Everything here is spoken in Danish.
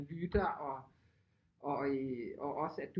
Lytter og også at